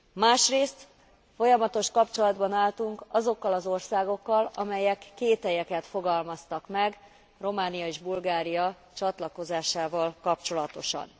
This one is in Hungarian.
Másrészt folyamatos kapcsolatban álltunk azokkal az országokkal, amelyek kételyeket fogalmaztak meg Románia és Bulgária csatlakozásával kapcsolatosan.